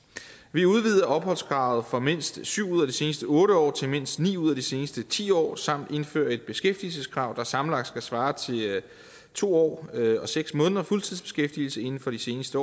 vi udvider opholdskravet fra mindst syv ud af de seneste otte år til mindst ni ud af de seneste ti år samt indfører et beskæftigelseskrav der sammenlagt skal svare til to år og seks måneders fuldtidsbeskæftigelse inden for de seneste